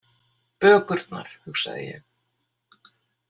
Bökurnar, hugsaði ég.